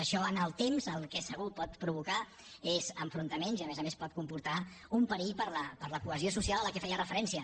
això en el temps el que segur que pot provocar és enfrontaments i a més a més pot comportar un perill per a la cohesió social a què feia referència